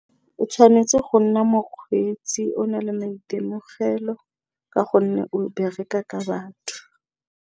O tshwanetse go nna mokgweetsi o na le maitemogelo ka gonne o bereka ka batho.